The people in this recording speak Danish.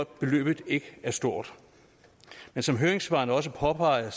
at beløbet ikke er stort men som høringssvarene også påpeger